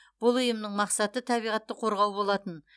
бұл ұйымның мақсаты табиғатты қорғау болатын